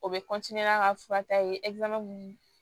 O bɛ n'a ka fura ta ye